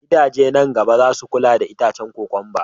Gidaje nan na gaba zasu kula da itacen kokwamba